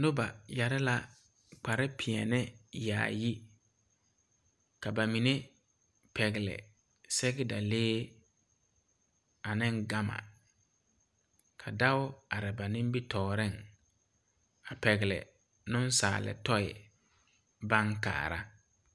Noba yɛre la kpar pɛɛle yaayi, ka ba mine. pɛgeli sɛgedalee ane gama, ka dɔɔ are ba nimitɔreŋ, a nensaal toi baŋ kaara.